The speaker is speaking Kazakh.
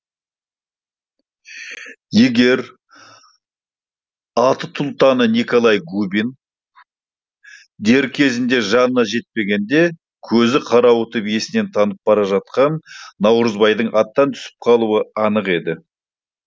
егер атұлтаны николай губин дер кезінде жанына жетпегенде көзі қарауытып есінен танып бара жатқан наурызбайдың аттан түсіп қалуы анық еді